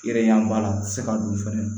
Yɛrɛ b'a la se ka don fɛnɛ